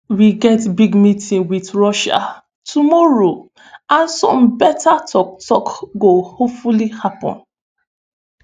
"we get big meeting wit russia tomorrow and some beta tok-tok go hopefully happun".